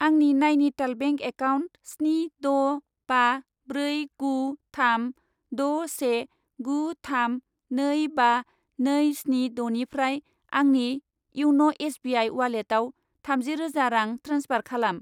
आंनि Nainital bank account स्नि द' बा ब्रै गु थाम द' से गु थाम नै बा नै स्नि द'निफ्राय आंनि इयन' एस बि आइ उवालेटाव थामजि रोजा रां ट्रेन्सफार खालाम।